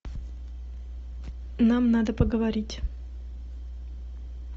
нам надо поговорить